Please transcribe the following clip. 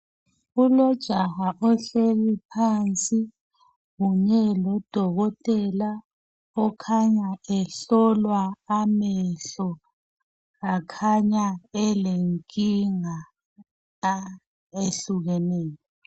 kulojaha ohleli phansi kunye lodokotela okhanya ehlolwa amehlo akhanya elenkinga ah ehlukeneyo